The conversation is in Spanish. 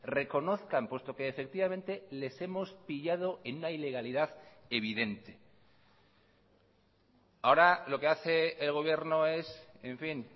reconozcan puesto que efectivamente les hemos pillado en una ilegalidad evidente ahora lo que hace el gobierno es en fin